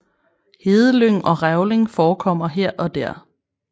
Hedelyng og revling forekommer her og der